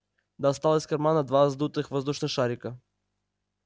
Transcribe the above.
достал из кармана два сдутых воздушных шарика